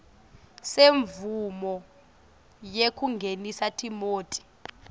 semvumo yekungenisa timoti